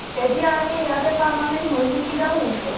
এতিয়া আমি ইয়াতে permanent হয়নো কি দাল হৈছে